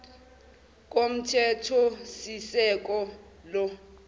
komthethosisekelo